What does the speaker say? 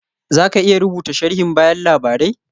Za ka iya rubuta sharhin bayan labarai?